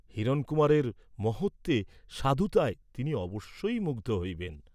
হিরণকুমারের মহত্ত্বে, সাধুতায় তিনি অবশ্যই মুগ্ধ হইবেন।